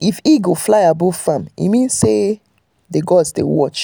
if eagle fly above farm e mean say the gods dey watch.